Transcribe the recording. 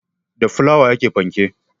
Da fulawa ake panke